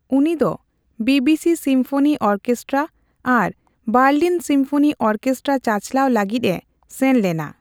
ᱩᱱᱤ ᱫᱚ BBC symphony orchestra ᱟᱨ ᱵᱟᱨᱞᱤᱱ ᱥᱤᱢᱯᱷᱱᱤ ᱚᱨᱠᱮᱥᱴᱨᱟ ᱪᱟᱪᱞᱟᱣ ᱞᱟᱹᱜᱤᱫ ᱮ ᱥᱮᱱ ᱞᱮᱱᱟ ᱾